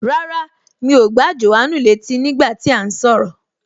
Rárá, mi ò gbà Jòhánù létí nígbà tí à ń sọ̀rọ̀